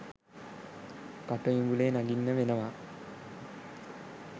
කටු ඉඹුලේ නගින්න වෙනවා